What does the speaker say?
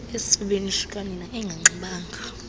esifubeni sikanina enganxibanga